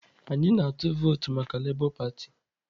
Anyị na-atụ vootu maka Lebọ patị